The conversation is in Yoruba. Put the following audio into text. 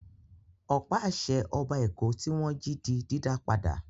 Ọ̀pá-àṣẹ Ọba Èkó tí wọ́n jí di dídá padà.